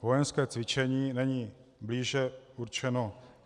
Vojenské cvičení není blíže určeno.